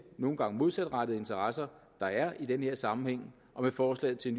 nogle gange modsatrettede interesser der er i den her sammenhæng og med forslaget til